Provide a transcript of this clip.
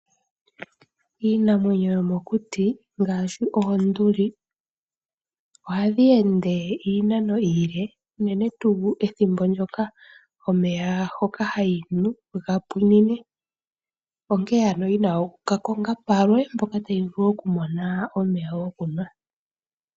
Iinamwenyo yomo kuti ngaashi oonduli, ohadhi ende iinano iile unene tuu ethimbo ndjoka omeya hoka hayi nu ga pwiinine, onkee ano yina oku ka konga palwe mpoka tayi vulu oku mona omeya go kunwa.